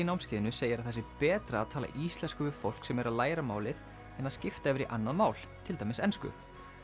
námskeiðinu segir að það sé betra að tala íslensku við fólk sem er að læra málið en að skipta yfir í annað mál til dæmis ensku